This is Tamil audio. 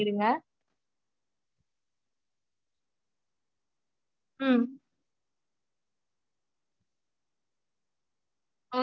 அதா mam உங்களுக்கு நாங்க quotation மாதிரி send பண்ணிடறோம். incase அதுல எதுனாச்சும் doubt இருந்தா நீங்க எங்களுக்கு call பண்ணி இது பண்ணிக்கலாம் okay ங்களா mam?